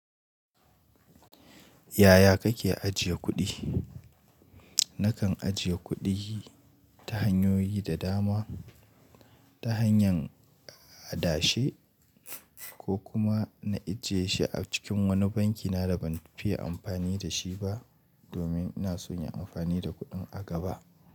Yaya kake ajiye kuɗi? Nakan ajiye kuɗi ta hanyoyi da dama. Ta hanyar adashe ko kuma na ajiye shi a cikin wani banki na da ban fiye amfani da shi ba domin ina son yin amfani da kuɗin a gaba.